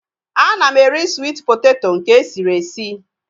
Ana m eri swit poteto nke esiri esi